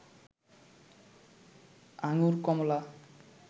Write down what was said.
আঙুর কমলা